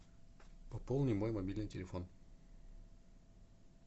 пополни мой мобильный телефон